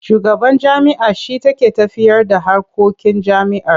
Shugaban jami'a shi take tafiyarda harkokin jami'ar.